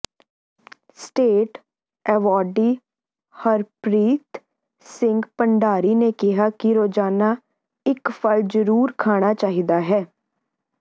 state awardee Harpreet Singh Bhandari ਨੇ ਕਿਹਾ ਕਿ ਰੋਜ਼ਾਨਾ ਇਕ ਫਲ ਜ਼ਰੂਰ ਖਾਣਾ ਚਾਹੀਦਾ ਹੈ